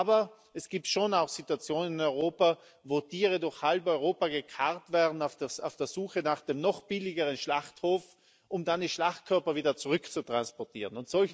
Aber es gibt schon auch Situationen in Europa, wo Tiere durch halb Europa gekarrt werden auf der Suche nach dem noch billigeren Schlachthof, um dann die Schlachtkörper wieder zurückzutransportieren.